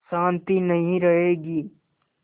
शान्ति नहीं रहेगी